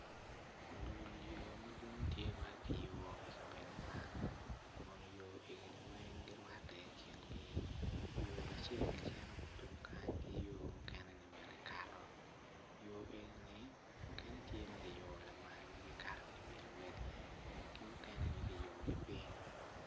Dul yo tye madwong ma kiyubo i kabedo man kun yo egoni weng girwatte i kingi yo acel cito tung kany ki yo mukene ni bene kato yo eni ni mukene ki yubo makato ki i wi luwedigi